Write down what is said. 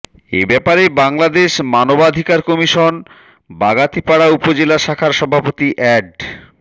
এ ব্যাপারে বাংলাদেশ মানবাধিকার কমিশন বাগাতিপাড়া উপজেলা শাখার সভাপতি এ্যাড